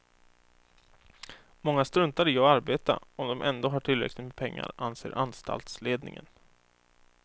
Många struntar i att arbeta om de ändå har tillräckligt med pengar, anser anstaltsledningen.